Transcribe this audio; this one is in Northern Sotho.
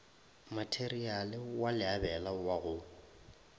matereiale wa leabela wa go